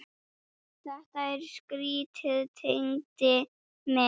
Þetta er skrýtið Tengdi minn.